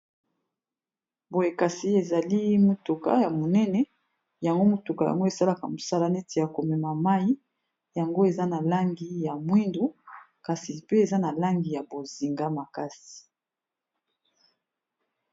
Boyekasi ezali motuka ya monene yango motuka yango esalaka mosala neti ya komema mai yango eza na langi ya mwindo kasi pe eza na langi ya bozinga makasi.